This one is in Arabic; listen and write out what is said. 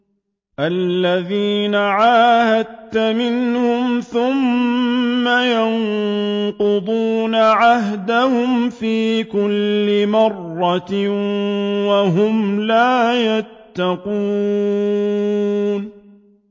الَّذِينَ عَاهَدتَّ مِنْهُمْ ثُمَّ يَنقُضُونَ عَهْدَهُمْ فِي كُلِّ مَرَّةٍ وَهُمْ لَا يَتَّقُونَ